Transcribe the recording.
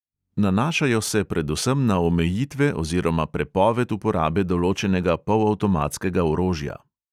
Nanašajo se predvsem na omejitve oziroma prepoved uporabe določenega polavtomatskega orožja.